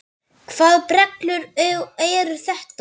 Hvaða brellur eru þetta?